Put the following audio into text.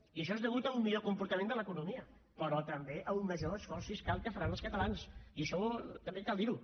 i això és a causa d’un millor comportament de l’economia però també a un major esforç fiscal que faran els catalans i això també cal dir ho